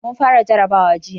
Mun fara jarrabawa jiya.